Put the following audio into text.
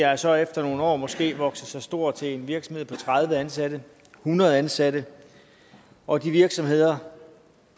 er så efter nogle år måske vokset sig store til en virksomhed på tredive ansatte hundrede ansatte og de virksomheder